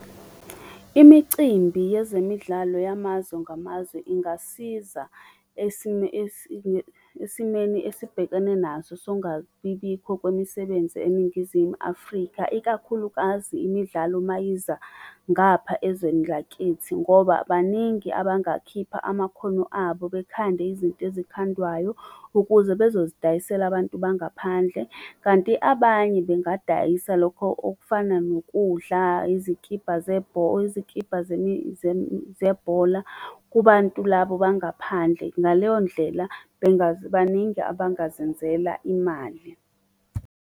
Imicimbi yezemidlalo yamazwe ngamazwe ingasiza esimeni esibhekene naso songabibikho kwemisebenzi eNingizimu Afrika, ikakhulukazi imidlalo ma yiza ngapha ezweni lakithi. Ngoba baningi abangakhipha amakhono abo bekhande izinto ezikhandwayo ukuze bezozidayisela abantu bangaphandle kanti abanye bengadayisa lokho okufana nokudla, izikibha , izikibha zebhola kubantu labo bangaphandle. Ngaleyo ndlela baningi abangazenzela imali.